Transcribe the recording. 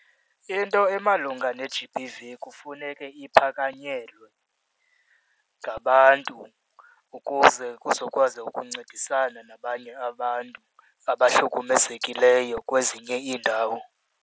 Into emalunga ne-G_B_V kufuneke iphakanyelwe ngabantu ukuze kuzokwazi ukuncedisana nabanye abantu abahlukumezekileyo kwezinye iindawo,